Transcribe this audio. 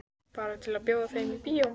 Bara til að bjóða þeim í bíó.